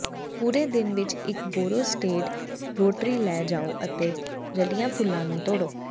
ਪੂਰੇ ਦਿਨ ਵਿਚ ਇਕ ਬੋਰੋ ਸੇਡਡ ਰੋਟਰੀ ਲੈ ਜਾਓ ਅਤੇ ਰਲੀਆਂ ਫੁੱਲਾਂ ਨੂੰ ਤੋੜੋ